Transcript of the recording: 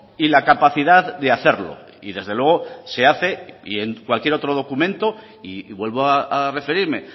y la capacidad de hacerlo y desde luego se hace y en cualquier otro documento y vuelvo a referirme